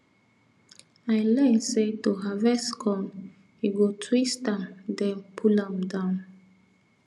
i learn say to harvest corn you go twist am then pull am down